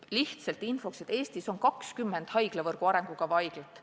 Lihtsalt infoks nii palju, et Eestis on 20 haiglavõrgu arengukavas olevat haiglat.